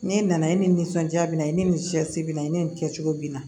N'e nana i nisɔndiya bi na i ni cɛsiri bɛ na i ni nin kɛcogo bɛ na